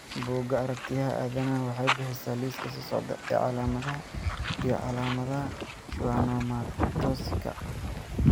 Bugga Aragtiyaha Aadanaha waxay bixisaa liiska soo socda ee calaamadaha iyo calaamadaha Schwannomatosika.